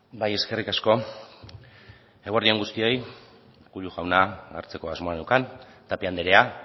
bai eskerrik asko eguerdi on guztioi urkullu jauna hartzeko asmoa neukan tapia andrea